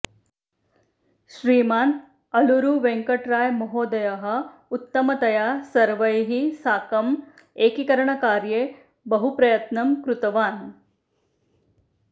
श्रीमान् आलूरुवेङ्कटरायमहोदयः उत्तमतया सर्वैः साकं एकीकरणकार्ये बहुप्रयत्नं कृतवान्